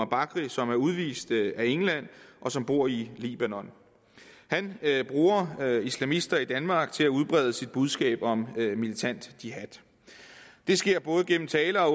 bakri som er udvist af england og som bor i libanon han bruger islamister i danmark til at udbrede sit budskab om militant jihad det sker både gennem tale og